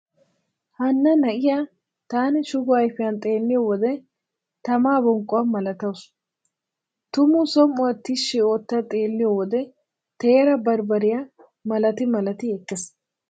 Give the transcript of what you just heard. Hanna na'iya taani shugo ayfiyan xeelliyo wode tamaa bonqquwa malatawusu. Tumu som"uwa tishshi ootta xeelliyo wode teera barbbariya malati malati ekkees.